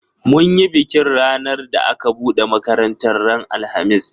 Mun yi bikin ranar da aka buɗe makaratar ran alhamis